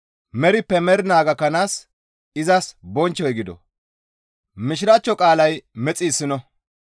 merippe mernaa gakkanaas izas bonchchoy gido.